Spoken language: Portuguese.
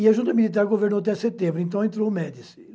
E a junta militar governou até setembro, então entrou o Médici.